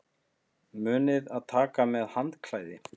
Munið að taka með handklæði!